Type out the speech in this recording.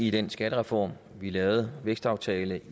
i den skattereform vi lavede vækstaftalen